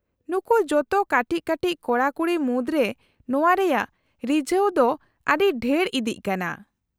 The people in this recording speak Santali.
-ᱱᱩᱠᱩ ᱡᱚᱛᱚ ᱠᱟᱹᱴᱤᱡ ᱠᱟᱹᱴᱤᱡ ᱠᱚᱲᱟ ᱠᱩᱲᱤ ᱢᱩᱫᱽᱨᱮ ᱱᱚᱶᱟ ᱨᱮᱭᱟᱜ ᱨᱤᱡᱷᱟᱹᱣ ᱫᱚ ᱟᱹᱰᱤ ᱰᱷᱮᱨ ᱤᱫᱤᱜ ᱠᱟᱱᱟ ᱾